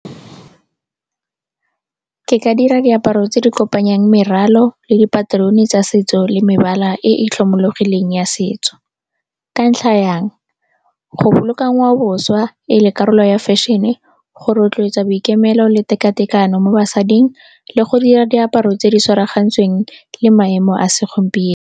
Ke ka dira diaparo tse di kopanyang meralo le dipaterone tsa setso le mebala e e tlhomologileng ya setso. Ka ntlha ya eng? Go boloka ngwaoboswa e le karolo ya fashion-e, go rotloetsa boikemelo le tekatekano mo basading le go dira diaparo tse di tshwaragantsweng le maemo a segompieno.